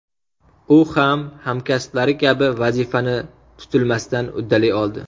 U ham, hamkasblari kabi, vazifani tutilmasdan uddalay oldi .